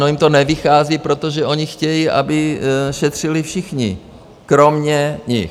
No, jim to nevychází, protože oni chtějí, aby šetřili všichni kromě nich.